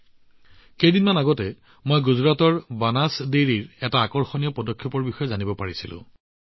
মাত্ৰ কেইদিনমানৰ আগতে গুজৰাটৰ বানাছ ডেইৰীৰ এটা আকৰ্ষণীয় পদক্ষেপৰ বিষয়ে জানিব পাৰিলোঁ